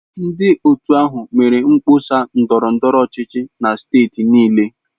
Ndị otu ahụ mere mkpọsa ndọrọ ndọrọ ọchịchị na steeti niile.